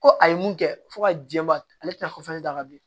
Ko a ye mun kɛ fo ka jɛba ale tɛna d'a ka bi